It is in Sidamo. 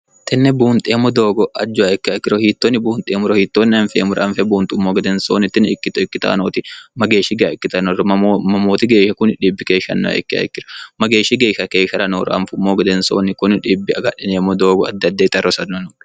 tenne buunxeemmo doogo ajjowa ikke hayikkiro hiittoonni buunxeemuro hiittoonni anfeemura anfe buunxummo gedensoonni tini ikkito ikkitoanooti mageeshshi ga ikkitanorro mamooti geeshsha kuni dhibbi keeshshannaa ikke hayikkiro mageeshshi geeshsha keeshshara noora anfummo gedensoonni kuni dhibbi agadhineemmo doogo addiadde ixa rosanno no